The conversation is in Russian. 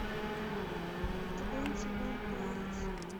твенти ван пайлотс